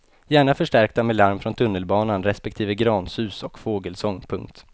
Gärna förstärkta med larm från tunnelbanan respektive gransus och fågelsång. punkt